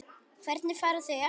Hvernig fara þau að?